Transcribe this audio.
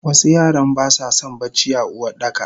Wasu yaran basason bacci a Uwardaka.